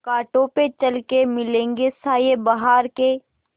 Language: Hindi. कांटों पे चल के मिलेंगे साये बहार के